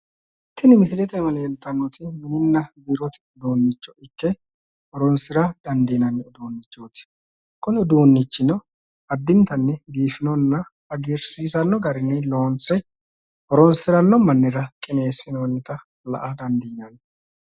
tini misilete aana leeltanoti mininna biirote uduunnicho ikke horonsira dandiinanni uduunnichooti kuni uduunnichino addintanni loonse horonsiranno mannira qineessinoonnita la''a dandiinanni.